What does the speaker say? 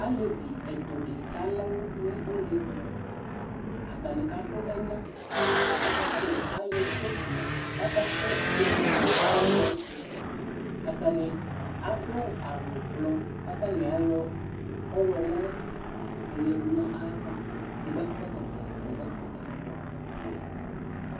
Alevi ɛtʋ dɩ kana ɔlʋ nʋ une ɛtʋ Atanɩ kadʋ ɛna kʋ atanɩ ayɔ sofi kʋ akʋ eti tsue nʋ ɛna yɛ tʋ Atanɩ adʋ awʋblɔ kʋ atanɩ ayɔ ɔɣlɔmɔ yɔyǝdu nʋ ayava Edigbo akɔ ɛkɔtɔvɛ, edigbo akɔ ɛkɔtɔwɛ